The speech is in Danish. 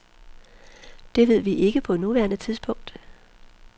Det ved vi ikke på nuværende tidspunkt.